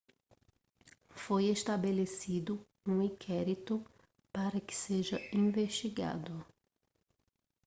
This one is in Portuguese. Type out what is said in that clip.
foi estabelecido um inquérito para que seja investigado